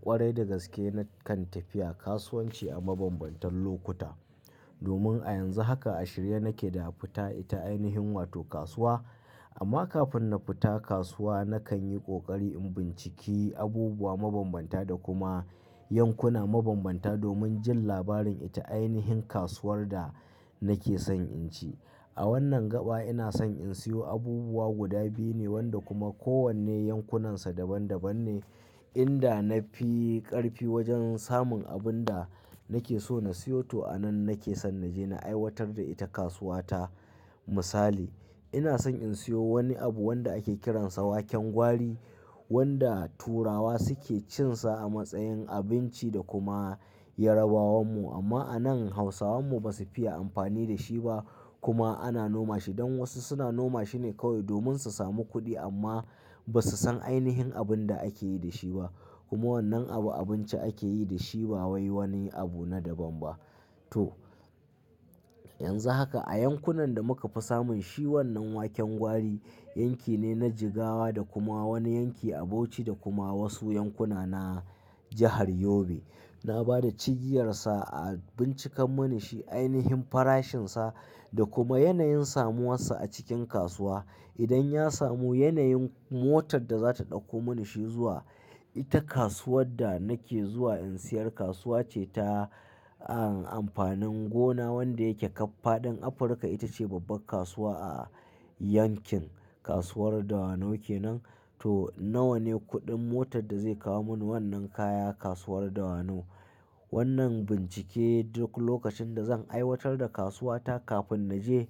Kwarai da gaske, na kan tafiya kasuwanci a mabambantan lokuta. Domin a yanzu haka, ashira nake da fita ita ainihin wato kasuwa. Amma kafin na fita kasuwa, na kan yi kokari in binciki abubuwa mabambanta da kuma yankuna mabambanta domin jin labarin ita ainihin kasuwar da nake son in ci. A wannan gaba ina son in siyo abubuwa guda biyu ne wanda kuma kowanne yankunansa daban daban ne. Inda na fi ƙarfi wajen samun abun da nake so na siyo, to a nan nake son na je na aiwatar da ita kasuwa ta. Misali, ina son in siyo wani abu wanda ake kiransa waken gwari wanda turawa suke cinsa a matsayin abinci da kuma Yarabawan mu. Amma a nan Hausawan mu ba su fiya amfani da shi ba kuma ana noma shi. Don wasu suna noma shine kawai domin su samu kuɗi amma ba su san ainihin abin da ake yi da shi ba. Kuma wannan abu abinci ake yi da shi ba wai wani abu na daban ba. To, yanzu haka a yankunan da muka fi samun shi wannan waken gwari, yanki ne na Jigawa da kuma wani yanki a Bauchi da kuma wasu yankuna na jahar Yobe. Na ba da cigiyarsa a bincika mani shi ainihin farashinsa da kuma yanayin samuwarsa a cikin kasuwa. Idan ya samu yanayin motar da za ta ɗauko mani shi zuwa, ita kasuwar da nake zuwa in siyar kasuwa ce ta an amfanin gona wanda yake ƙaf faɗin Afirka. Ita ce babbar kasuwa a yankin. Kasuwar Dawanau ke nan. To nawa ne kuɗin motar da zai kawo mani wannan kaya kasuwar Dawanau. Wannan bincike duk lokacin da zan aiwatar da kasuwa ta kafin na je,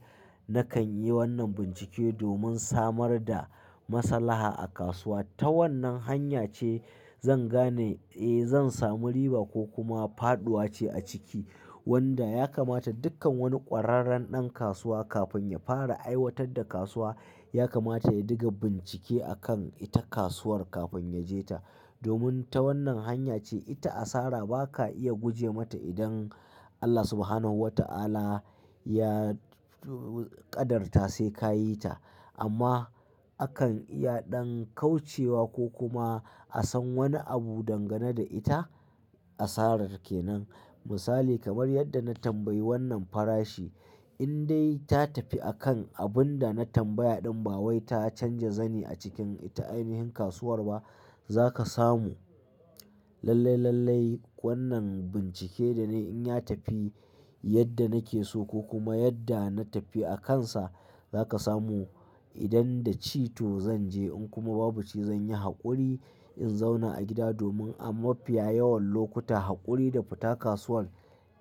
na kan yi wannan bincike domin samar da maslaha a kasuwa. Ta wannan hanya ce zan gane, eh zan samu riba ko kuma faɗuwa ce a ciki. Wanda ya kamata dukkan wani ƙwararren ɗan kasuwa kafin ya fara aiwatar da kasuwa, ya kamata ya diga bincike akan ita kasuwar kafin ya je ta. Domin ta wannan hanya ce ita asara ba ka iya guje mata idan Allah Subhanahu wa ta'ala ya qadarta sai ka yi ta. Amma akan iya ɗan kaucewa ko kuma a san wani abu dangane da ita asarar ke nan. Misali kamar yadda na tambayi wannan farashi in dai ta tafi akan abun da na tambaya ɗan ba wai ta canja zani a cikin ita ainihin kasuwar ba. Za ka samu lallai, lallai wannan bincike da na yi in ya tafi yadda nake so ko kuma yadda na tafi a kansa za ka samu. Idan da ci to zan je in kuma babu ci zan yi haƙuri in zauna a gida domin a mafiya yawan lokuta haƙuri da fita kasuwan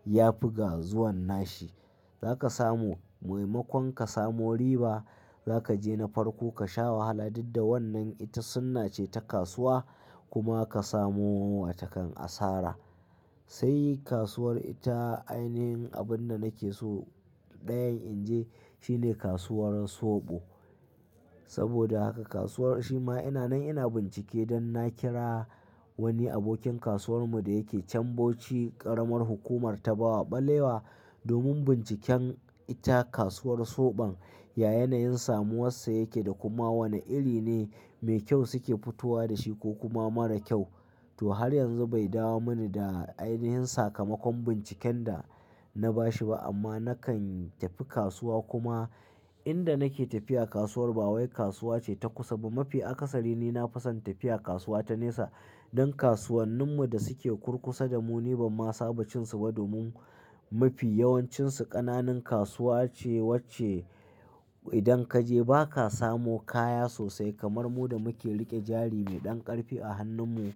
ya fi ga zuwan nashi. Za ka samu muhimmakon ka samu riba. Za ka je na farko ka sha wahala duk da wannan ita sunna ce ta kasuwa kuma ka samu wata kan asara. Sai kasuwar ita ainihin abun da nake so ɗayan in je, shine kasuwar Sobo. Saboda haka kasuwar shi ma ina nan ina bincike don na kira wani abokin kasuwar mu da yake cambuci ƙaramar hukumar ta Bawa Ɓalewa domin binciken ita kasuwar soɓon, ya yanayin samuwar sa yake da kuma wane iri ne mai kyau suke fitowa da shi ko kuma mara kyau. To har yanzu bai dawo mani da ainihin sakamakon binciken da na bashi ba amma na kan tafi kasuwa kuma inda nake tafiya kasuwar ba wai kasuwa ce ta kusa ba. Mafi akasari ni na fison tafiya kasuwa ta nesa don kasuwannin mu da suke kurkusa da mu ni ba ma saba cinsu ba domin mafi yawancinsu ƙananan kasuwa ce wacce idan ka je ba ka samu kaya sosai kamar mu da muke riƙe jari mai ɗan ƙarfi a hannun mu.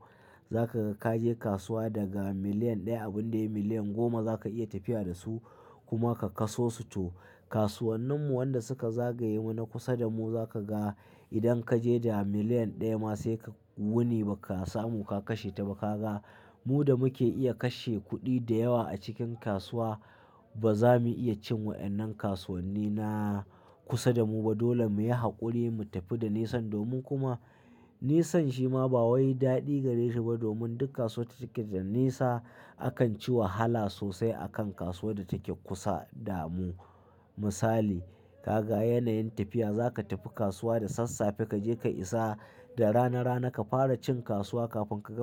Za ka ka je kasuwa daga miliyan ɗaya abun da yi miliyan goma za ka iya tafiya da su kuma ka kaso su. To kasuwannin mu wanda suka zagaye mu na kusa da mu za ka ga idan ka je da miliyan ɗaya ma sai ka wuni ba ka samu ka kashe ta ba ka ga. Mu da muke iya kashe kuɗi da yawa a cikin kasuwa ba za mu iya cin wa'yannan kasuwanni na kusa da mu ba. Dole mu yi haƙuri mu tafi da nesa domin kuma nesan shi ma ba wai daɗi gare shi ba domin dukkan kasuwa take da nesa. Akan ci wahala sosai a kan kasuwar da take kusa da mu. Misali, ka ga yanayin tafiya za ka tafi kasuwa da sassafe. Ka je ka isa da rana rana ka fara cin kasuwa kafin ka gama-